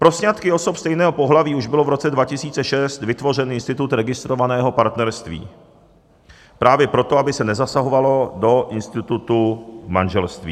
Pro sňatky osob stejného pohlaví už byl v roce 2006 vytvořen institut registrovaného partnerství - právě proto, aby se nezasahovalo do institutu manželství.